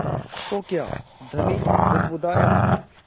तो क्या धनी बुदबुदाया